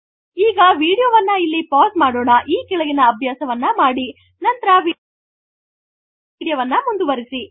ಈಗ ವೀಡಿಯೊ ವನ್ನು ಇಲ್ಲಿ ಪೌಸ್ ಮಾಡೋಣ ಈ ಕೆಳಗಿನ ಅಭ್ಯಾಸವನ್ನು ಮಾಡಿ ನಂತರ ವೀಡಿಯೊ ಮುಂದುವರೆಸಿ